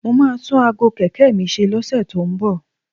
Mo máa tún aago kẹ̀kẹ́ mi ṣe lọ́sẹ̀ tó ń bọ̀